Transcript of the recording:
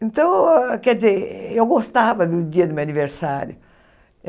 Então, quer dizer, eu gostava do dia do meu aniversário.